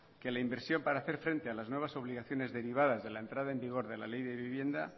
que la inversión para hacer frente a las nuevas obligaciones derivadas de la entrada en vigor de la ley de vivienda